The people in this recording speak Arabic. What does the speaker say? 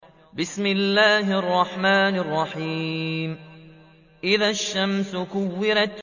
إِذَا الشَّمْسُ كُوِّرَتْ